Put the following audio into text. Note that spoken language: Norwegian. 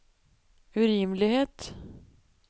urimelighet